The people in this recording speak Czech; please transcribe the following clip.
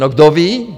No, kdo ví?